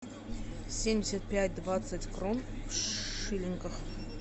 семьдесят пять двадцать крон в шиллингах